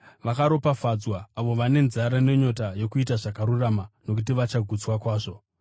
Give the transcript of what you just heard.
Vakaropafadzwa avo vane nzara nenyota yokuita zvakarurama nokuti vachagutswa kwazvo.